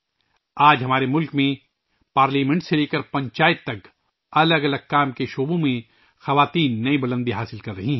آج ہمارے ملک میں خواتین پارلیمنٹ سے لے کر پنچایت تک مختلف شعبوں میں نئیبلندیوں کو چھو رہی ہیں